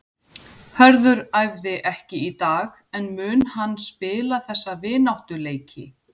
Hörður æfði ekki í dag en mun hann spila þessa vináttuleiki?